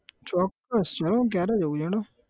ચોક્કસ હેડો ન ક્યારે જઉં છે હેડો